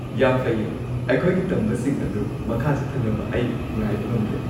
ꯌꯥꯝ ꯐꯩꯌꯦ! ꯑꯩꯈꯣꯏꯒꯤ ꯇꯝꯕꯁꯤꯡ ꯑꯗꯨ ꯃꯈꯥ ꯆꯠꯊꯅꯕ ꯑꯩ ꯉꯥꯏꯕ ꯉꯝꯗ꯭ꯔꯦ꯫